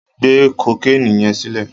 Gbé kokéènì yẹn sílẹ̀.